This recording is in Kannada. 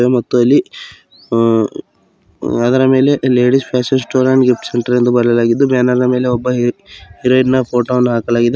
ಮತ್ತು ಇಲ್ಲಿ ಅ ಅದರ ಮೇಲೆ ladies fashion store and gifts centre ಎಂದು ಬರೆಯಲಾಗಿದ್ದು ಬ್ಯಾನರ್ ನ ಮೇಲೆ ಹೀ ಹೀರೋಯಿನ್ ಫೋಟೋ ಹಾಕಲಾಗಿದೆ.